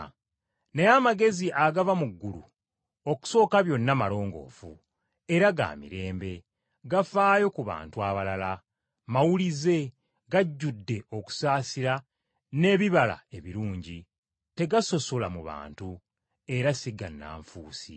Naye amagezi agava mu ggulu okusooka byonna malongoofu, era ga mirembe, gafaayo ku bantu abalala, mawulize, gajjudde okusaasira n’ebibala ebirungi, tegasosola mu bantu, era si gannanfuusi.